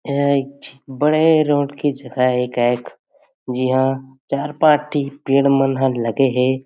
यहाँ एक बड़े रोड की जगह हे गायक जी हां चार पांच ठी पेड़ मन ह लगे हे।